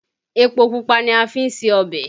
Epo pupa ni a fi ṣe ọbẹ̀